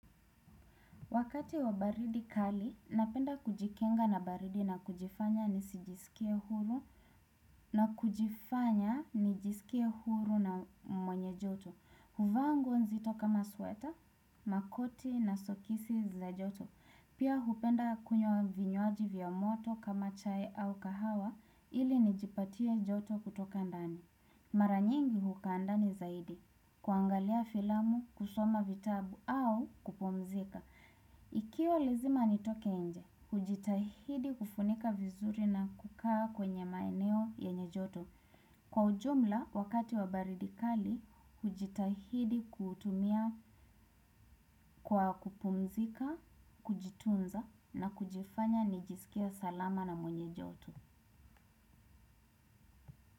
Wakati wa baridi kali, napenda kujikinga na baridi na kujifanya nisijisikie huru. Na kujifanya nijisikie huru na mwenye joto. Huvaa nguo nzito kama sweta, makoti na soksi za joto. Pia hupenda kunywa vinywaji vya moto kama chai au kahawa ili nijipatie joto kutoka ndani. Mara nyingi hukaa ndani zaidi. Kuangalia filamu, kusoma vitabu au kupumzika. Ikiwa lazima nitoke nje, hujitahidi kufunika vizuri na kukaa kwenye maeneo yenye joto. Kwa ujumla, wakati wa baridi kali, hujitahidi kutumia kwa kupumzika, kujitunza na kujifanya nijisikie salama na mwenye joto.